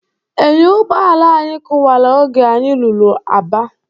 Enyo ụgbọala anyị kụwala oge anyị ruru Aba.